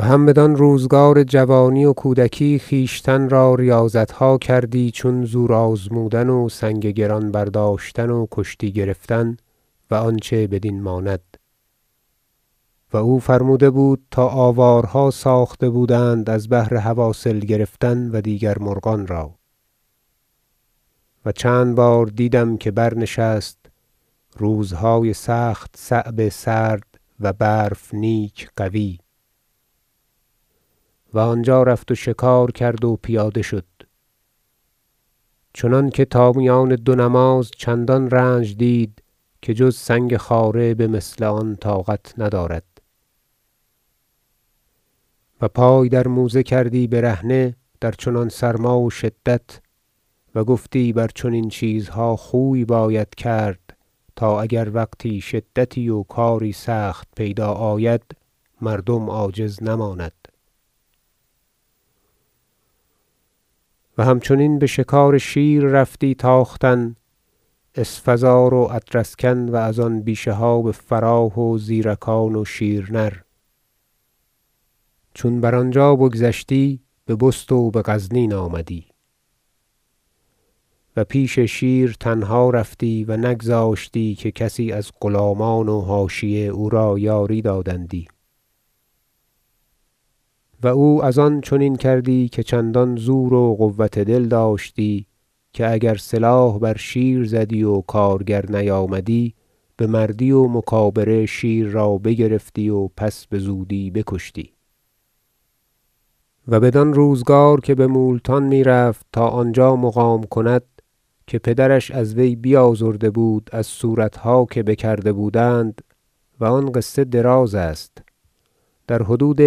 و هم بدان روزگار جوانی و کودکی خویشتن را ریاضتها کردی چون زور آزمودن و سنگ گران برداشتن و کشتی گرفتن و آنچه بدین ماند و او فرموده بود تا آوارها ساخته بودند از بهر حواصل گرفتن و دیگر مرغان را و چند بار دیدم که برنشست روزهای سخت صعب سرد و برف نیک قوی و آنجا رفت و شکار کرد و پیاده شد چنانکه تا میان دو نماز چندان رنج دید که جز سنگ خاره به مثل آن طاقت ندارد و پای در موزه کردی برهنه در چنان سرما و شدت و گفتی بر چنین چیزها خوی باید کرد تا اگر وقتی شدتی و کاری سخت پیدا آید مردم عاجز نماند و همچنین به شکار شیر رفتی تا ختن اسفزار و ادرسکن و ازان بیشه ها به فراه و زیرکان و شیر نر چون بر آنجا بگذشتی به بست و به غزنین آمدی و پیش شیر تنها رفتی و نگذاشتی که کسی از غلامان و حاشیه او را یاری دادندی و او از آن چنین کردی که چندان زور و قوة دل داشت که اگر سلاح بر شیر زدی و کارگر نیامدی به مردی و مکابره شیر را بگرفتی و پس بزودی بکشتی و بدان روزگار که به مولتان میرفت تا آنجا مقام کند که پدرش از وی بیازرده بود از صورتها که بکرده بودند- و آن قصه دراز است- در حدود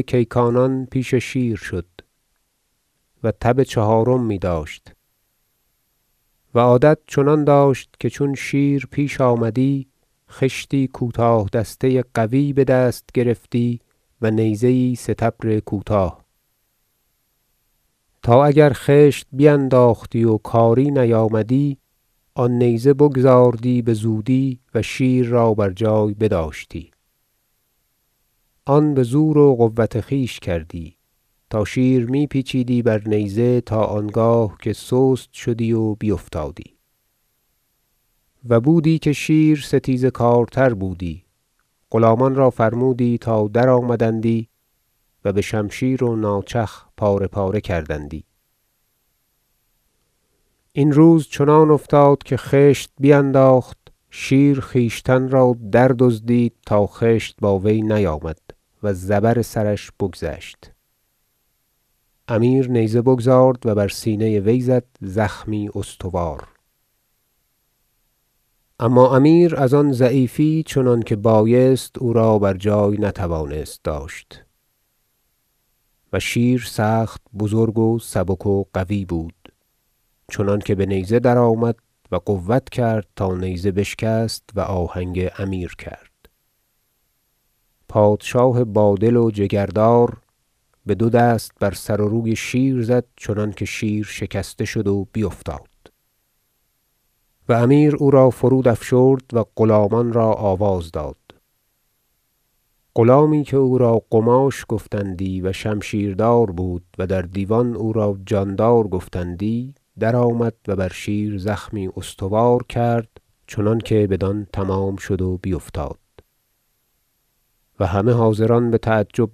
کیکانان پیش شیر شد و تب چهارم میداشت و عادت چنان داشت که چون شیر پیش آمدی خشتی کوتاه دسته قوی به دست گرفتی و نیزه یی سطبر کوتاه تا اگر خشت بینداختی و کاری نیامدی آن نیزه بگزاردی بزودی و شیر را بر جای بداشتی آن به زور و قوة خویش کردی تا شیر می پیچیدی بر نیزه تا آنگاه که سست شدی و بیفتادی و بودی که شیر ستیزه کارتر بودی غلامان را فرمودی تا درآمدندی و به شمشیر و ناچخ پاره پاره کردندی این روز چنان افتاد که خشت بینداخت شیر خویشتن را دردزدید تا خشت با وی نیامد و زبر سرش بگذشت امیر نیزه بگزارد و بر سینه وی زد زخمی استوار اما امیر از آن ضعیفی چنانکه بایست او را بر جای نتوانست داشت و شیر سخت بزرگ و سبک و قوی بود چنانکه به نیزه درآمد و قوة کرد تا نیزه بشکست و آهنگ امیر کرد پادشاه بادل و جگردار به دو دست بر سر و روی شیر زد چنانکه شیر شکسته شد و بیفتاد و امیر او را فرودافشرد و غلامان را آواز داد غلامی که او را قماش گفتندی و شمشیردار بود و در دیوان او را جاندار گفتندی درآمد و بر شیر زخمی استوار کرد چنانکه بدان تمام شد و بیفتاد و همه حاضران به تعجب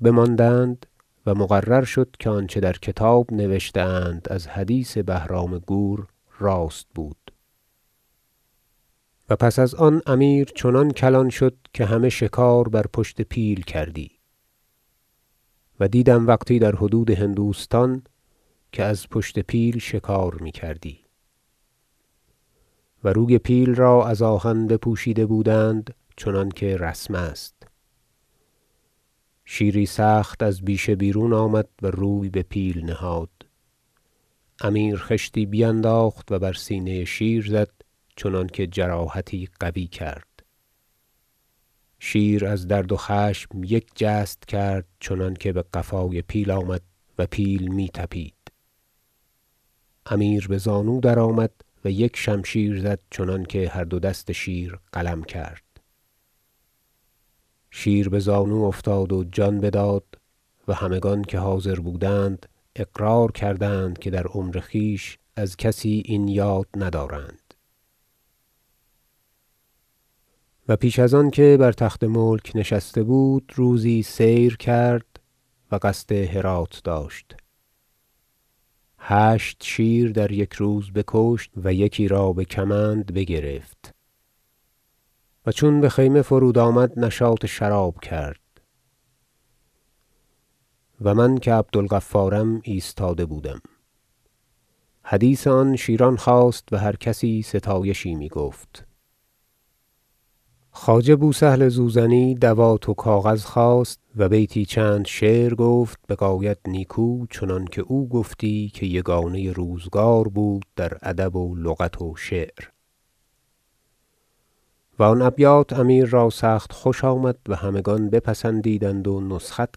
بماندند و مقرر شد که آنچه در کتاب نوشته اند از حدیث بهرام گور راست بود و پس از آن امیر چنان کلان شد که همه شکار بر پشت پیل کردی و دیدم وقتی در حدود هندوستان که از پشت پیل شکار میکردی و روی پیل را از آهن بپوشیده بودند چنانکه رسم است شیری سخت از بیشه بیرون آمد و روی به پیل نهاد امیر خشتی بینداخت و بر سینه شیر زد چنانکه جراحتی قوی کرد شیر از درد و خشم یک جست کرد چنانکه به قفای پیل آمد و پیل می طپید امیر به زانو درآمد و یک شمشیر زد چنانکه هر دو دست شیر قلم کرد شیر به زانو افتاد و جان بداد و همگان که حاضر بودند اقرار کردند که در عمر خویش از کسی این یاد ندارند و پیش از آنکه بر تخت ملک نشسته بود روزی سیر کرد و قصد هرات داشته هشت شیر در یک روز بکشت و یکی را به کمند بگرفت و چون به خیمه فرود آمد نشاط شراب کرد و من که عبدالغفارم ایستاده بودم حدیث آن شیران خاست و هر کسی ستایشی میگفت خواجه بوسهل زوزنی دوات و کاغذ خواست و بیتی چند شعر گفت بغایت نیکو چنانکه او گفتی که یگانه روزگار بود در ادب و لغت و شعر و آن ابیات امیر را سخت خوش آمد و همگان بپسندیدند و نسخت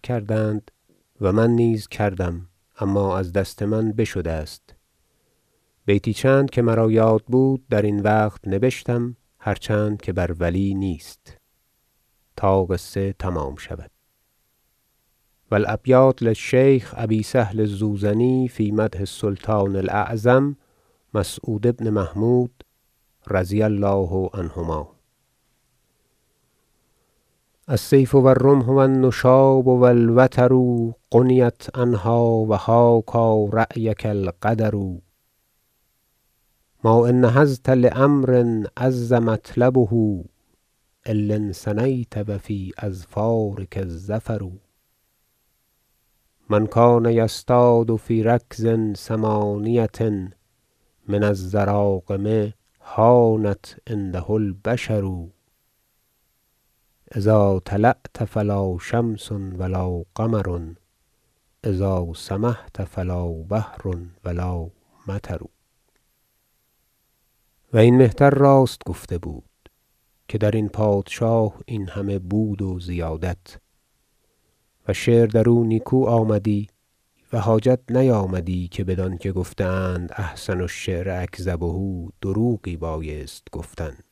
کردند و من نیز کردم اما از دست من بشده است بیتی چند که مرا یاد بود در این وقت نبشتم- هرچند که بر ولی نیست- تا قصه تمام شود و الأبیات للشیخ أبي سهل الزوزني في مدح السلطان الأعظم مسعود بن محمود -رضي الله عنهما- شعر السیف و الرمح و النشاب و الوتر غنیت عنها و حاکی رأیک القدر ما إن نهضت لأمر عز مطلبه إلا انثنیت و في أظفارک الظفر من کان یصطاد في رکض ثمانیة من الضراغم هانت عنده البشر إذا طلعت فلا شمس و لا قمر إذا سمحت فلا بحر و لا مطر و این مهتر راست گفته بود که در این پادشاه این همه بود و زیادت و شعر در او نیکو آمدی و حاجت نیامدی که بدانکه گفته اند أحسن الشعر أکذبه دروغی بایستی گفتن